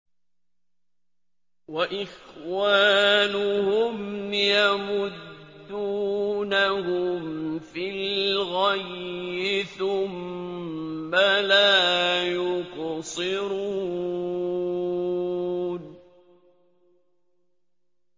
وَإِخْوَانُهُمْ يَمُدُّونَهُمْ فِي الْغَيِّ ثُمَّ لَا يُقْصِرُونَ